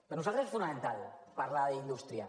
per nosaltres és fonamental parlar d’indústria